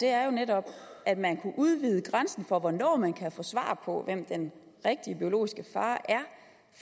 er jo netop at man kunne udvide grænsen for hvornår man kan få svar på hvem den rigtige biologiske far